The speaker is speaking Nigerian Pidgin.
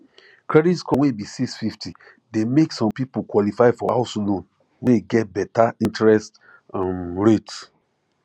credit score wey be six fifty de make some people qualify for house loan wey get better interest um rate